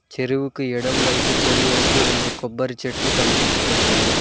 చెరువుకి ఎడమ వైపు కుడివైపు రెండు కొబ్బరి చెట్లు కనిపిస్తున్నాయి.